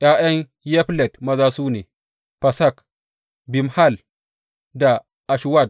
’Ya’yan Yaflet maza su ne, Fasak, Bimhal da Ashwat.